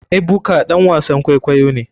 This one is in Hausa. Ebuka ɗan wasan kwaikwayo ne.